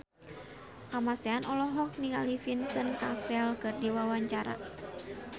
Kamasean olohok ningali Vincent Cassel keur diwawancara